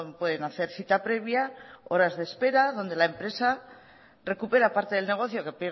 pueden hacer cita previa horas de espera donde la empresa recupera parte del negocio que